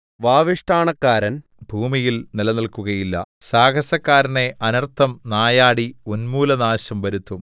വാവിഷ്ഠാണക്കാരൻ ഭൂമിയിൽ നിലനില്‍ക്കുകയില്ല സാഹസക്കാരനെ അനർത്ഥം നായാടി ഉന്മൂലനാശം വരുത്തും